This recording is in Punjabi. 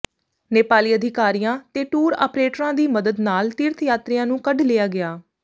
ਨੇਪਾਲੀ ਅਧਿਕਾਰੀਆਂ ਤੇ ਟੂਰ ਆਪ੍ਰੇਟਰਾਂ ਦੀ ਮਦਦ ਨਾਲ ਤੀਰਥ ਯਾਤਰੀਆਂ ਨੂੰ ਕੱਢ ਲਿਆ ਗਿਆ